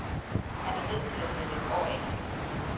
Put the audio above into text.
Han er nødt til at sætte et år af til det.